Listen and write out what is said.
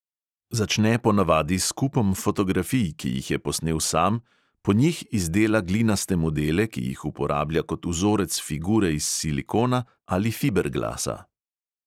Začne ponavadi s kupom fotografij, ki jih je posnel sam, po njih izdela glinaste modele, ki jih uporablja kot vzorec figure iz silikona ali fiberglasa.